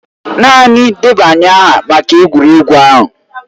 Naanị debanye aha maka egwuregwu ahụ.